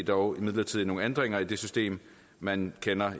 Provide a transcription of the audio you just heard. dog imidlertid nogle ændringer i det system man kender